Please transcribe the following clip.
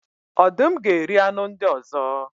Ọdụm ga eri anụ ndị ọzọ.